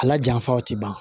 A la janfa o tɛ ban